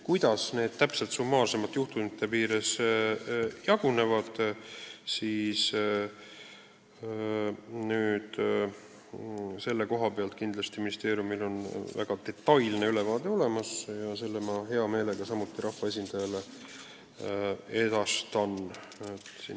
Kuidas need juhtumid täpselt jagunevad, selle kohta on ministeeriumil kindlasti väga detailne ülevaade olemas ja selle ma hea meelega rahvaesindajale edastan.